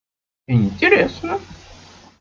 интересно